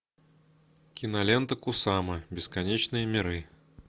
кинолента кусама бесконечные миры